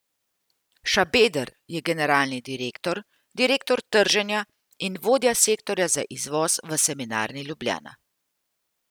Šabeder je generalni direktor, direktor trženja in vodja sektorja za izvoz v Semenarni Ljubljana.